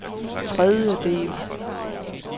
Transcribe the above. tredjedel